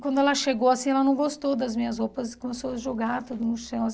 Quando ela chegou assim, ela não gostou das minhas roupas e começou a jogar tudo no chão.